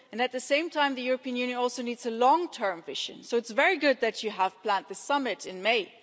At the same time, the European Union also needs a long-term vision, so it's very good that you have planned the summit in May.